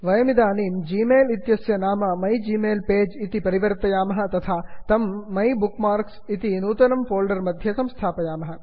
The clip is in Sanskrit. वयमिदानीं ग्मेल जिमेल् इत्यस्य नाम माइग्मेल्पेज मै जिमेल् पेज् इति परिवर्तयामः तथा तं माइबुकमार्क मै बुक् मार्क्स् इति नूतन फोल्डर् मध्ये स्थापयामः